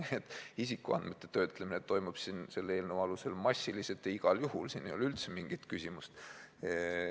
Seega, isikuandmete töötlemine toimub selle eelnõu alusel massiliselt ja igal juhul, siin ei ole üldse mingit küsimust.